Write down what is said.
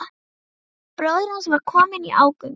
Bróðir hans var kominn í ógöngur.